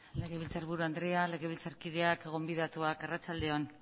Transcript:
legebiltzarburu andrea legebiltzarkideok gonbidatuak arratsalde on